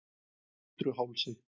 Bitruhálsi